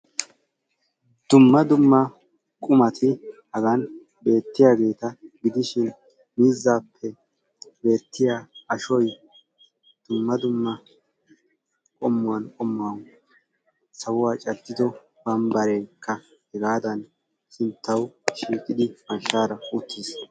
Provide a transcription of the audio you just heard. Dumma dumma qumati hagan beetiyaageta gidishin miizzaappe beettiya ashoy dumma dumma qommuwan qommuwan sawuwa caddido bambareekka hegaadan sinttaw shiiqidi mashshaara uttis.